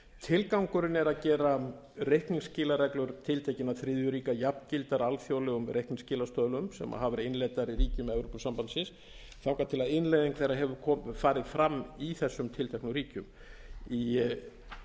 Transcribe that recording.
tilgangurinn er að gera reikningsskilareglur tiltekinna þriðju ríkja jafngildar alþjóðlegum reikningskilastöðlum sem hafa verið innleiddar í ríkjum evrópusambandsins þangað til innleiðing þeirra hefur farið fram í þessum tilteknu ríkjum í